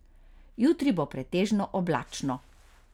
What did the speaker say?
Jutri bo pretežno oblačno.